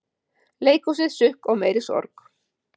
Leikhúsið, sukk og meiri sorg